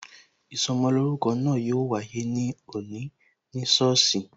Ìsọmolórúkọ náà yo wáyé ní òní ní sọ́ọ̀sì